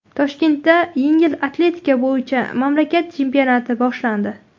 Toshkentda yengil atletika bo‘yicha mamlakat chempionati boshlandi.